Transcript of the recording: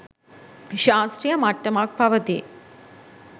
ශාස්ත්‍රීය මට්ටමක් පවතී.